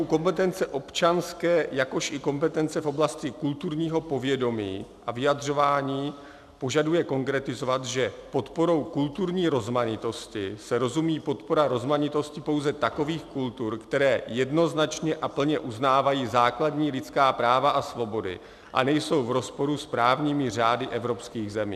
"U kompetence občanské, jakož i kompetence v oblasti kulturního povědomí a vyjadřování požaduje konkretizovat, že "podporou kulturní rozmanitosti" se rozumí podpora rozmanitosti pouze takových kultur, které jednoznačně a plně uznávají základní lidská práva a svobody a nejsou v rozporu s právními řády evropských zemí."